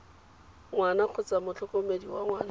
ngwana kgotsa motlhokomedi wa ngwana